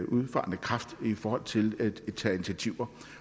udfarende kraft i forhold til at tage initiativer